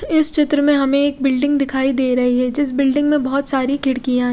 इस चित्र में हमे एक बिल्डिंग दिखाई दे रही है जिस बिल्डिंग में बहोत सारी खिड़कियाँ--